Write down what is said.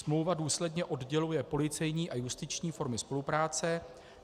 Smlouva důsledně odděluje policejní a justiční formy spolupráce.